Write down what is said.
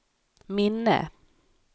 minne